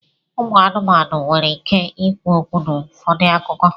ụmụ anụmanụ nwere ike ikwu okwu n'ụfọdụ akụkọ.